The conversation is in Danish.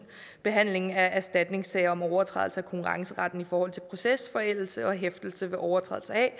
behandlingen af erstatningssager om overtrædelse af konkurrenceretten i forhold til procesforældelse og hæftelse ved overtrædelse af